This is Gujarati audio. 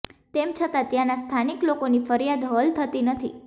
તેમ છતાં ત્યાંના સ્થાનિક લોકોની ફરિયાદ હલ થતી નથી